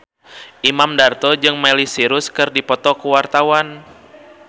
Imam Darto jeung Miley Cyrus keur dipoto ku wartawan